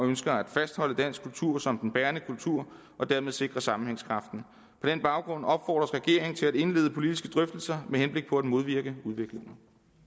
ønsker at fastholde dansk kultur som den bærende kultur og dermed sikre sammenhængskraften på den baggrund opfordres regeringen til at indlede politiske drøftelser med henblik på at modvirke udviklingen